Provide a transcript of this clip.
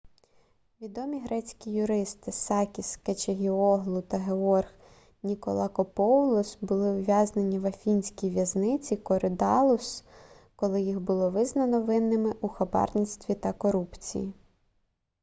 відомі грецькі юристи сакіс кечагіоглу та георг ніколакопоулос були ув'язнені в афінській в'язниці коридаллус коли їх було визнано винними у хабарництві та корупції